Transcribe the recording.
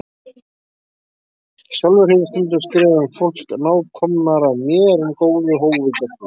Sjálfur hef ég stundum skrifað um fólk nákomnara mér en góðu hófi gegnir.